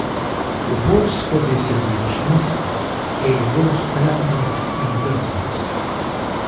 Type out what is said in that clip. Upor skozi sebičnost, ego vztrajnost in drznost.